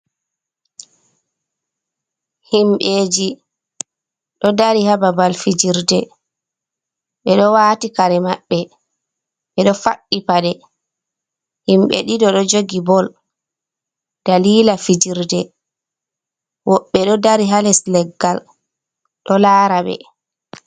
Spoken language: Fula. Himbeji ɗo dari haa babal fijirde, ɓe ɗo waati kare maɓɓe, ɓe ɗo faɗɗi paɗe ,himɓe ɗiɗo ɗo njogi bol daliila fijirde ,woɓɓe ɗo dari haa les leggal ɗo laara ɓe.